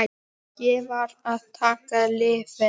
Ég varð að taka lyfin.